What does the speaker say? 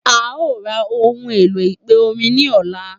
A o ra ohun èlò ìpè orin ní ọlá